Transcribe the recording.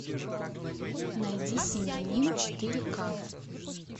найди семьянин четыре к